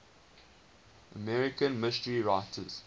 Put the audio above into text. american mystery writers